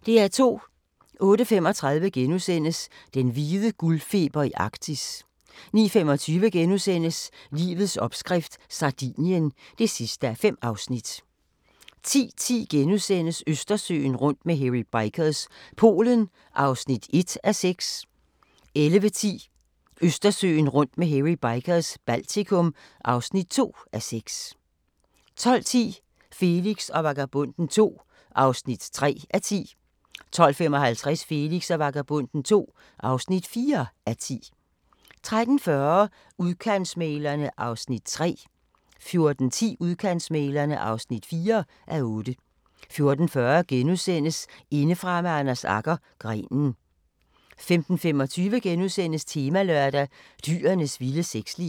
08:35: Den hvide guldfeber i Arktis * 09:25: Livets opskrift – Sardinien (5:5)* 10:10: Østersøen rundt med Hairy Bikers – Polen (1:6)* 11:10: Østersøen rundt med Hairy Bikers – Baltikum (2:6) 12:10: Felix og Vagabonden II (3:10) 12:55: Felix og Vagabonden II (4:10) 13:40: Udkantsmæglerne (3:8) 14:10: Udkantsmæglerne (4:8) 14:40: Indefra med Anders Agger – Grenen * 15:25: Temalørdag: Dyrenes vilde sexliv *